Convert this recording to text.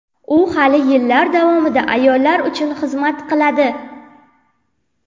U hali yillar davomida ayollar uchun xizmat qiladi.